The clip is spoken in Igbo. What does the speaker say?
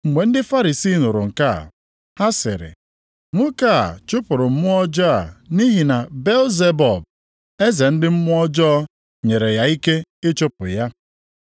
Mgbe ndị Farisii nụrụ nke a, ha sịrị, “Nwoke a chụpụrụ mmụọ ọjọọ a nʼihi na Belzebub, eze ndị mmụọ ọjọọ, nyere ya ike ịchụpụ ya.”